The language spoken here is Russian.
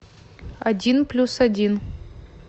один плюс один